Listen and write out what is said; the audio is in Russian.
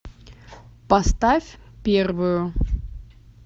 поставь первую